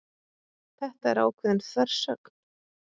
Þetta er ákveðin þversögn